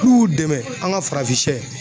N'u y'u dɛmɛn an ka farafinsɛ